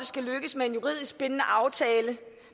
skal lykkes med en juridisk bindende aftale